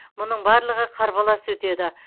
мұның барлығы қарбалас өтеді